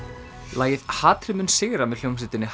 lagið hatrið mun sigra með hljómsveitinni